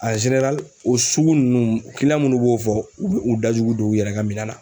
o sugu nunnu munnu b'o fɔ, u be u dajugu don u yɛrɛ ka minɛn na.